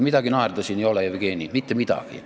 Midagi naerda siin ei ole, Jevgeni, mitte midagi.